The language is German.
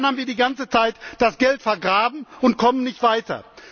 Aber dann haben wir die ganze Zeit das Geld vergraben und kommen nicht weiter.